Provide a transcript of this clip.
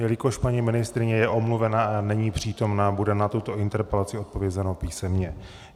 Jelikož paní ministryně je omluvena a není přítomna, bude na tuto interpelaci odpovězeno písemně.